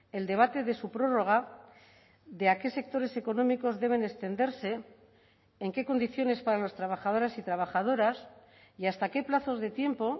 el debate de su prórroga de a qué sectores económicos deben extenderse en qué condiciones para los trabajadores y trabajadoras y hasta qué plazos de tiempo